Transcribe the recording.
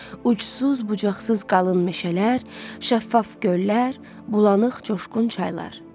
Uçsuz-bucaqsız qalın meşələr, şəffaf göllər, bulanıq coşqun çaylar.